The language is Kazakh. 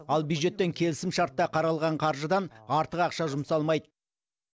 ал бюджеттен келісімшартта қаралған қаржыдан артық ақша жұмсалмайды